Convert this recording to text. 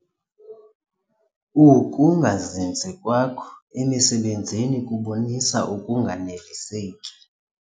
Ukungazinzi kwakho emisebenzini kubonisa ukunganeliseki.